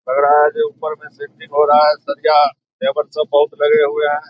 लग रहा है कि ऊपर में सेंटिग हो रहा है। सरिया लेबर सब बहुत लगे हुए हैं।